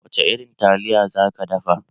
Wace irin taliya za ki dafa?